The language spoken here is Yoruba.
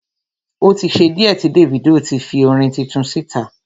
O tí ṣe díẹ̀ tí Davido ti fi orin tuntun síta.